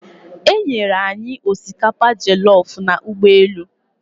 E nyere anyị osikapa jollofu n'ụgbọelu.